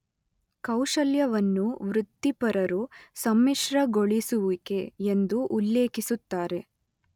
ಕೌಶಲ್ಯವನ್ನು ವೃತ್ತಿಪರರು ಸಮ್ಮಿಶ್ರಗೊಳಿಸುವಿಕೆ ಎಂದು ಉಲ್ಲೇಖಿಸುತ್ತಾರೆ.